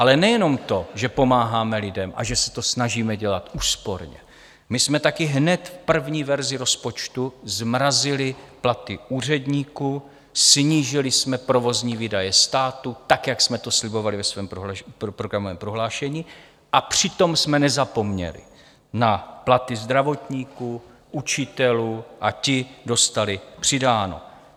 Ale nejenom to, že pomáháme lidem a že se to snažíme dělat úsporně, my jsme taky hned v první verzi rozpočtu zmrazili platy úředníků, snížili jsme provozní výdaje státu tak, jak jsme to slibovali ve svém programovém prohlášení, a přitom jsme nezapomněli na platy zdravotníků, učitelů a ti dostali přidáno.